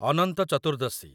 ଅନନ୍ତ ଚତୁର୍ଦ୍ଦଶୀ